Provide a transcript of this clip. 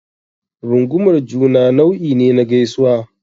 Rungumar juna nau'i ne na gaisuwa.